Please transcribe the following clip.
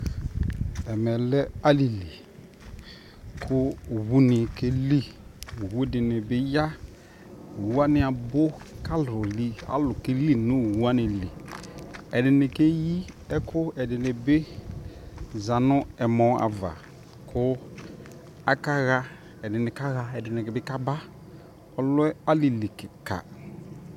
ɛmɛ lɛ alili kʋɔwʋ ni kɛli, ɔwʋ dini biya ɔwʋwani abʋ kʋ alʋ kɛli nʋ ɔwʋ wani li, ɛdini kɛyi ɛkʋɛdini bi zanʋ ɛmɔ aɣa kʋ akaha, ɛdini bi kaba ,ɔlɛ alili kikaa